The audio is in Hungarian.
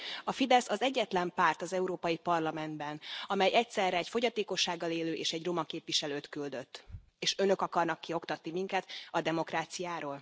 A Fidesz az egyetlen párt az Európai Parlamentben, amely egyszerre egy fogyatékossággal élő és egy roma képviselőt küldött, és Önök akarnak kioktatni minket a demokráciáról?